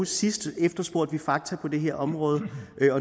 sidste gang efterspurgte fakta på det her område